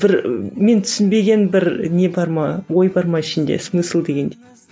бір мен түсінбеген бір не бар ма ой бар ма ішінде смысл дегендей